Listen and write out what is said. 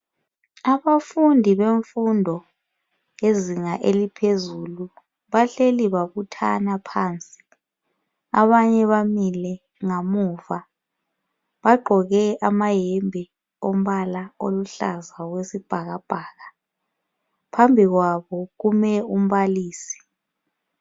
Abafundi bemfundo yezinga eliphezulu bahleli babuthana phansi. Abanye bamile ngamuva, bagqoke amayembe ombala aluhlaza okwesibhakabhaka. Phambi kwabo kume umbalisi.